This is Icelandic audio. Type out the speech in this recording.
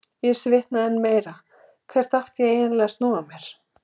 Ég svitnaði enn meira, hvert átti ég eiginlega að snúa mér?